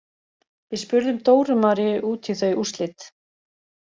Við spurðum Dóru Maríu út í þau úrslit.